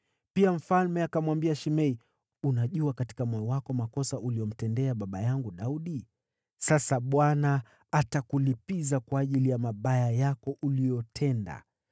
Pia mfalme akamwambia Shimei, “Unajua katika moyo wako makosa uliyomtendea baba yangu Daudi. Sasa Bwana atakulipiza kwa ajili ya mabaya yako uliyotenda.